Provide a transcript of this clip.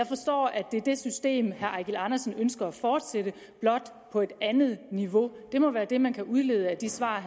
det er det system herre eigil andersen ønsker at fortsætte blot på et andet niveau det må være det man kan udlede af de svar